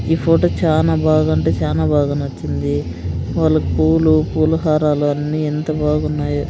ఈ ఫోటో చానా బాగంటే చానా బాగా నచ్చింది వాళ్ళ పూలు పూల హారాలు అన్నీ ఎంత బాగున్నాయో.